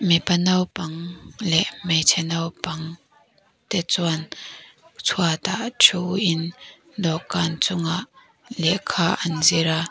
mipa naupang leh hmeichhe naupang te chuan chhuat ah thuin dawhkan chungah lehkha an zir a.